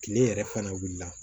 Kile yɛrɛ fana wuli la